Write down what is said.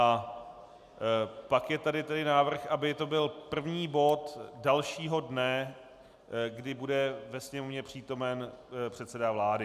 A pak je tady tedy návrh, aby to byl první bod dalšího dne, kdy bude ve Sněmovně přítomen předseda vlády.